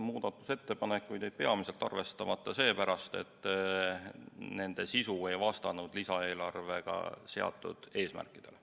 Muudatusettepanekud jäid peamiselt arvestamata seepärast, et nende sisu ei vastanud lisaeelarve eesmärkidele.